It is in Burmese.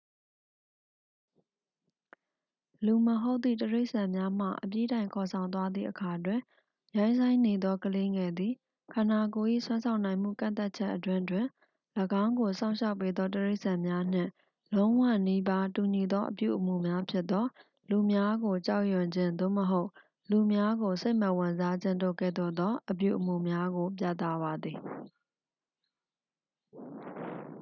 လူမဟုတ်သည့် တိရစ္ဆာန်များမှ အပြီးတိုင်ခေါ်ဆောင်သွားသည့်အခါတွင်၊ ရိုင်းစိုင်းနေသောကလေးငယ်သည် ခန္ဓာကိုယ်၏စွမ်းဆောင်နိုင်မှုကန့်သတ်ချက်အတွင်းတွင် ၎င်းကိုစောင့်ရှောက်ပေးသောတိရစ္ဆာန်များနှင့် လုံးဝနီးပါးတူညီသော အပြုအမူများဖြစ်သော၊ လူများကိုကြောက်ရွံ့ခြင်း သို့မဟုတ် လူများကိုစိတ်မဝင်စားခြင်းတို့ကဲ့သို့သော အပြုအမူများကို ပြသပါသည်။